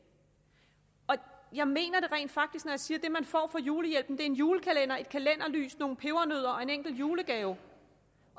jeg mener det rent faktisk når jeg siger at det man får for julehjælpen er en julekalender et kalenderlys nogle pebernødder og en enkelt julegave